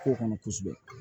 Ko kɔnɔ kosɛbɛ